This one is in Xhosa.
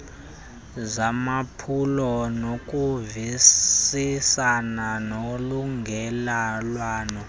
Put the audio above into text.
zamaphulo nokuvisisana nolungelelwano